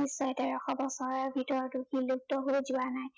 নিশ্চয় তেৰশ বছৰৰ ভিতৰতো বিলুপ্ত হৈ যোৱা নাই।